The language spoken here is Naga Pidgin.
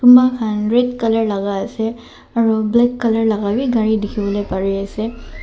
red colour laga ase aru black colour laga wii gari dikhiwole pari ase.